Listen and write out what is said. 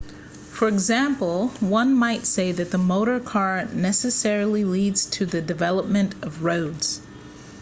for example one might say that the motor car necessarily leads to the development of roads